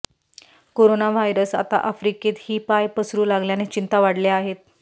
corona virus आता आफ्रिकेत ही पाय पसरु लागल्याने चिंता वाढल्या आहेत